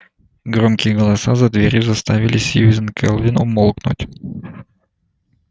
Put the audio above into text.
громкие голоса за дверью заставили сьюзен кэлвин умолкнуть